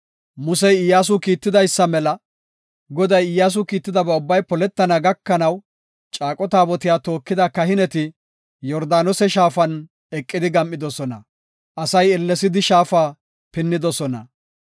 Musey Iyyasu kiitidaysa mela, Goday Iyyasu kiittidaba ubbay poletana gakanaw, caaqo taabotiya tookida kahineti Yordaanose shaafan eqidi gam7idosona. Asay ellesidi shaafa pinnidosona.